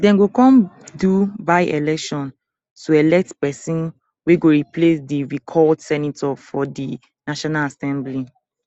dem go come do byeelection to elect pesin wey go replace di recalled senator for di national assembly